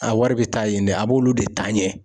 A wari bɛ taa yen dɛ a b'olu de taa ɲɛ.